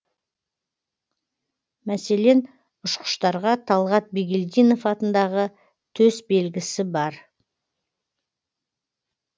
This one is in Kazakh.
мәселен ұшқыштарға талғат бигелдинов атындағы төсбелгісі бар